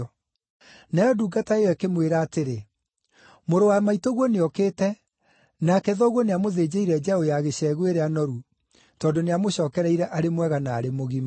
Nayo ndungata ĩyo ĩkĩmwĩra atĩrĩ, ‘Mũrũ wa maitũguo nĩokĩte, nake thoguo nĩamũthĩnjĩire njaũ ya gĩcegũ ĩrĩa noru, tondũ nĩamũcookereire arĩ mwega na arĩ mũgima.’